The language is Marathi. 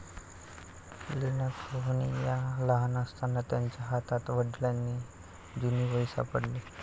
लीना सोहोनी या लहान असताना त्यांच्या हातात वडिलांची जुनी वही सापडली.